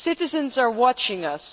Citizens are watching us.